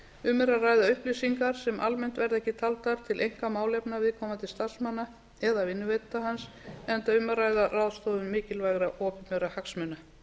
um er að ræða upplýsingar sem almennt verða ekki taldar til einkamálefna viðkomandi starfsmanna eða vinnuveitenda hans enda um að ræða ráðstöfun mikilvægra opinberra hagsmuna